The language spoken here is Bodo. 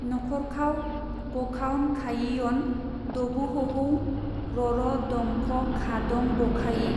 नखरखाव गखावनखायियन दबोहहौ ररदंखखादंबखायि।